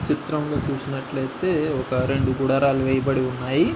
చిత్రం లో చూసినట్లైతే ఒక రెండు గుడారాలు వేయబడి ఉన్నాయి.